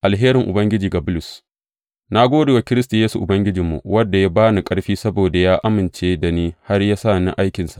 Alherin Ubangiji ga Bulus Na gode wa Kiristi Yesu Ubangijinmu, wanda ya ba ni ƙarfi, saboda ya amince da ni, har ya sa ni aikinsa.